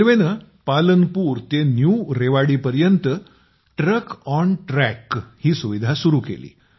रेल्वेने पालनपूर ते नवीन रेवाडीपर्यंत ट्रकऑनट्रॅक ही सुविधा सुरू केली